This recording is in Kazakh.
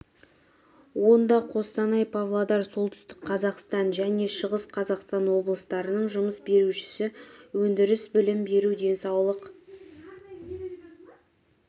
онда қостанай павлодар солтүстік қазақстан және шығыс қазақстан облыстарының жұмыс берушісі өндіріс білім беру денсаулық